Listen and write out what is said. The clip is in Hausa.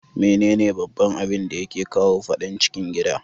Mene ne baban abinda yake kawo fadan cikin gida?